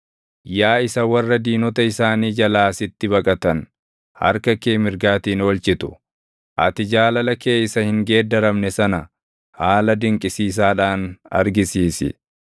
Yaa isa warra diinota isaanii jalaa sitti baqatan harka kee mirgaatiin oolchitu, ati jaalala kee isa hin geeddaramne sana haala dinqisiisaadhaan argisiisi.